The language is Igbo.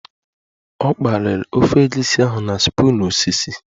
Ọ kpaliri ofe egusi ahụ na spoon osisi